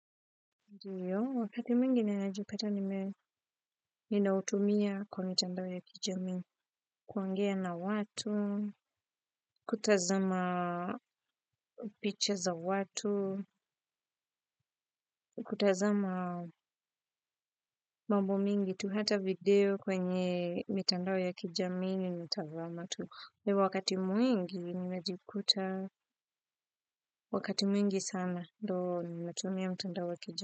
Ndiyo, wakati mwingi ninajipata ninautumia kwa mitandao ya kijami, kuongea na watu, kutazama picha za watu, kutazama mambo mingi tu hata video kwenye mitandao ya kijamii nimetazama tu. Ndio, wakati mwingi, ninajikuta, wakati mwingi sana ndio ninaotumia mitandao ya kijamii.